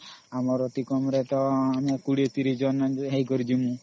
ଆମର ଅତି କମ ରେ ତା 20 30 ଜଣ ହେଇକରି ଜିମୂ